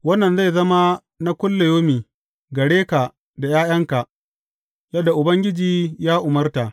Wannan zai zama na kullayaumi gare ka da ’ya’yanka, yadda Ubangiji ya umarta.